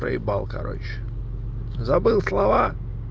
проебал короче забыл слова